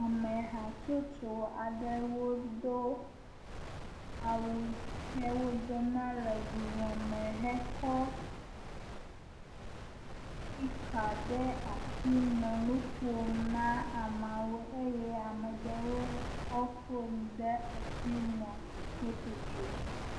Ame hatsotso aɖewo do awu he wodona le vuvɔ me hekɔ spika ɖe asi nɔ nu ƒom na ameawo eye ame ɖewo kɔ fon ɖe asi nɔ foto tsom.